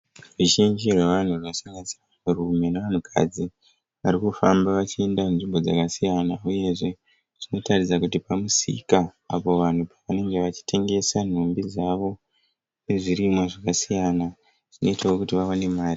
Ruzhinji rwavanhu vakasangana vanhurume nevanhukadzi varikufamba vachienda nzvimbo dzakasiyana uyezve zvinotaridza kuti pamusika apo vanhu pavanenge vachitengesa nhumbi dzavo nezvirimwa zvakasiyana zvinoitawo kuti vawane mari.